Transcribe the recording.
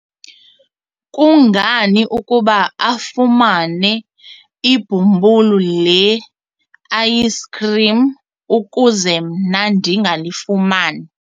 kungani ukuba afumane ibhumbulu le-ayisikhrim ukuze mna ndingalifumani?